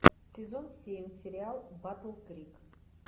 сезон семь сериал батл крик